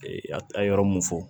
a ye yɔrɔ mun fɔ